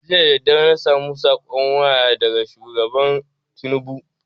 Jiya dadadare na samu saƙon waya daga shugaba tinubu